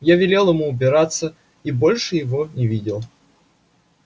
я велел ему убираться и больше его не видел